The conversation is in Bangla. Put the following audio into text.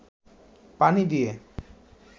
পানি দিয়ে